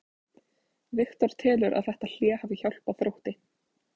Viktor telur að þetta hlé hafi hjálpað Þrótti.